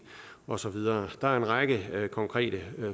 og så videre der er en række konkrete